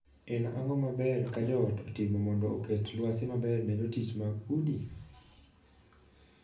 En ang'o maber ka joot otimo mondo oket lwasi maber ne jotich mag udi?